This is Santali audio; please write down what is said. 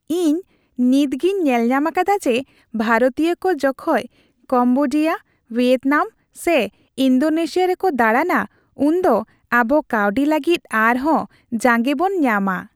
ᱤᱧ ᱱᱤᱛᱜᱤᱧ ᱧᱮᱞᱧᱟᱢ ᱟᱠᱟᱫᱟ ᱡᱮ, ᱵᱷᱟᱨᱚᱛᱤᱭᱟᱹ ᱠᱚ ᱡᱚᱠᱷᱚᱡ ᱠᱚᱢᱵᱳᱰᱤᱭᱟ, ᱵᱷᱤᱭᱮᱛᱱᱟᱢ ᱥᱮ ᱤᱱᱰᱳᱱᱮᱥᱤᱭᱟ ᱨᱮᱠᱚ ᱫᱟᱬᱟᱱᱟ ᱩᱱᱫᱚ ᱟᱵᱚ ᱠᱟᱹᱣᱰᱤ ᱞᱟᱹᱜᱤᱫ ᱟᱨ ᱦᱚᱸ ᱡᱟᱸᱜᱮ ᱵᱚᱱ ᱧᱟᱢᱟ ᱾